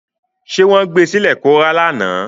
Ṣé wọ́n gbé sílẹ̀ kó rá lánàá?